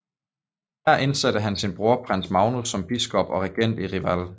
Her indsatte han sin bror prins Magnus som biskop og regent i Reval